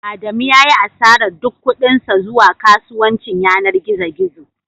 Adamu ya yi asarar duk kuɗin sa zuwa kasuwancin yanar gizo gizo